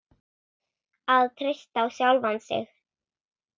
Að treysta á sjálfan sig.